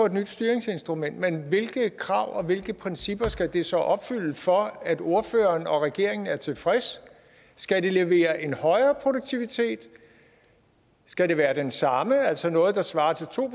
et nyt styringsinstrument men hvilke krav og hvilke principper skal det så opfylde for at ordføreren og regeringen er tilfreds skal det levere en højere produktivitet skal det være den samme altså noget der svarer til to